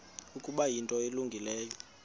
ukuba yinto elungileyo